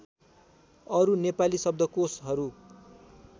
अरु नेपाली शब्दकोशहरू